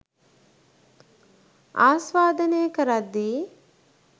ආස්වාදනය කරද්දී